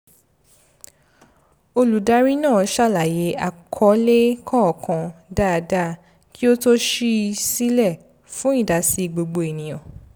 olùdarí náà ṣàlàyé àkọlé kọ̀ọ̀kan dáadáa kí ó tó ṣí i silẹ fún ìdásí gbogbo ènìyàn